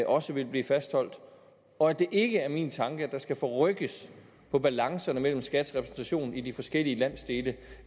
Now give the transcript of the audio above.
også vil blive fastholdt og at det ikke er min tanke at der skal forrykkes på balancen mellem skats repræsentation i de forskellige landsdele